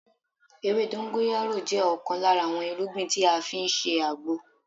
Ewé dongoyaro jẹ́ ọ̀kan lára àwọn irúgbìn tí a fi ń ṣe àgbo